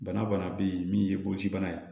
Bana bana bɛ yen min ye boloci bana ye